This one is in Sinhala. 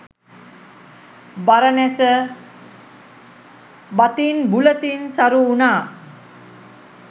බරණැස බතින් බුලතින් සරු වුණා.